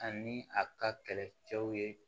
Ani a ka kɛlɛcɛw ye